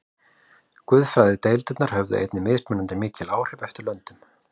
Guðfræðideildirnar höfðu einnig mismunandi mikil áhrif eftir löndum.